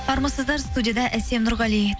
армысыздар студияда әсем нұрғали